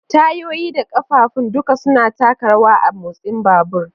Tayoyi da ƙafafun duka suna taka rawa a motsin babur.